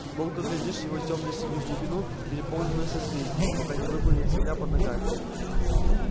долго глядишь в его тёмно-синюю глубину переполненную созвездиями пока не выплывет земля под ногами